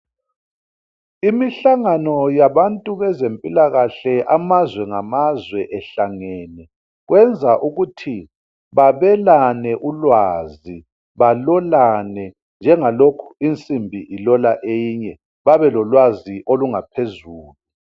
imihlangano yabantu bezempilakahle amazwe lamazwe ehlangene benza ukuthi babelane ulwazi balolane njeba insimbi ilola eyinye bebelolwazi oluphezulu